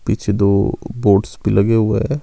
पीछे दो बोट्स भी लगे हुए हैं।